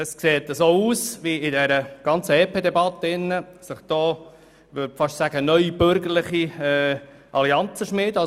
Es sieht so aus, als ob sich in der Debatte über das EP neue bürgerliche Allianzen bilden.